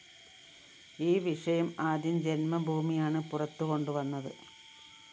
ഈ വിഷയം ആദ്യം ജന്മഭൂമിയാണ് പുറത്തുകൊണ്ടുവന്നത്